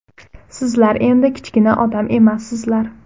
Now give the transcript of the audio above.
Sizlar endi kichkina odam emassizlar.